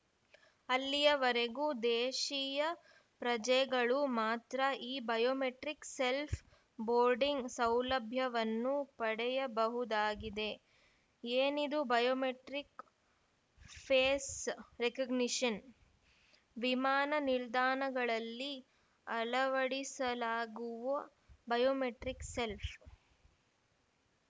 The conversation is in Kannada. ಅಲ್ಲಿಯವರೆಗೂ ದೇಶೀಯ ಪ್ರಜೆಗಳು ಮಾತ್ರ ಈ ಬಯೋಮೆಟ್ರಿಕ್‌ ಸೆಲ್ಫ್ ಬೋರ್ಡಿಂಗ್‌ ಸೌಲಭ್ಯವನ್ನು ಪಡೆಯಬಹುದಾಗಿದೆ ಏನಿದು ಬಯೋಮೆಟ್ರಿಕ್‌ ಫೇಸ್‌ ರೆಕಗ್ನಿಷನ್‌ ವಿಮಾನ ನಿಲ್ದಾಣಗಳಲ್ಲಿ ಅಳವಡಿಸಲಾಗುವ ಬಯೋಮೆಟ್ರಿಕ್‌ ಸೆಲ್ಫ್